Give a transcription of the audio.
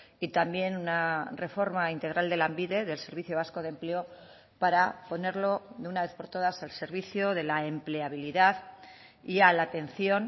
y también una reforma integral de lanbide del servicio vasco de empleo para ponerlo de una vez por todas el servicio de la empleabilidad y a la atención